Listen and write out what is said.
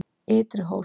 Ytri Hól